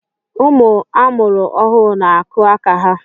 Ụmụ amụrụ ọhụụ n'akụ aka ha